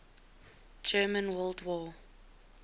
german world war